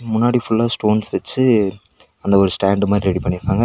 முன்னாடி ஃபுல்லா ஸ்டோன்ஸ் வெச்சு அந்த ஒரு ஸ்டாண்ட் மாறி ரெடி பண்ணிருக்காங்க--